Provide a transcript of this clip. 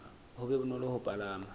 ho be bonolo ho palama